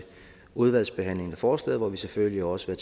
udvalgsbehandlingen af forslaget hvor vi selvfølgelig også vil